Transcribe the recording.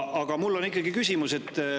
Aga mul on ikkagi küsimus.